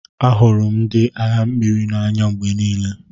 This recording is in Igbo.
Ahụrụ m ndị agha mmiri n'anya mgbe niile.